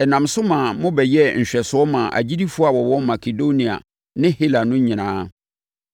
Ɛnam so maa mobɛyɛɛ nhwɛsoɔ maa agyidifoɔ a wɔwɔ Makedonia ne Hela no nyinaa.